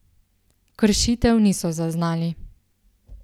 Kršitev niso zaznali.